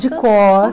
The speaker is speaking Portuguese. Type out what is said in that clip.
De